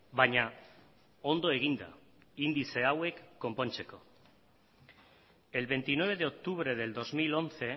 baina ondo eginda indize hauek konpontzeko el veintinueve de octubre del dos mil once